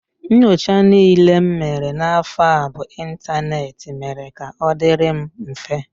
Nchọcha niile m mere n'afọ a bụ ịntaneetị mere ka ọ dịịrị m mfe